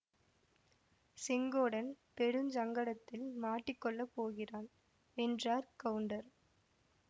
செங்கோடன் பெருஞ் சங்கடத்தில் மாட்டிக் கொள்ள போகிறான் என்றார் கவுண்டர்